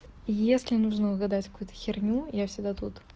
если нужно угадать какую-то херню я всегда тут